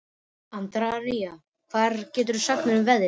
Andríana, hvað geturðu sagt mér um veðrið?